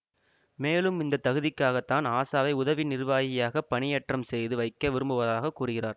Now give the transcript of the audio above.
மேலும் இந்த தகுதிக்காக தான் ஆஷாவை உதவி நிர்வாகியாக பணியேற்றம் செய்து வைக்க விரும்புவதாக கூறுகிறார்